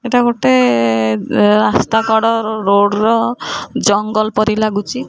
ଏଟା ଗୋଟେ ଏ ରାସ୍ତା କଡ଼ ରୋଡ୍ ର ଜଙ୍ଗଲ୍ ପାରି ଲାଗୁଚି।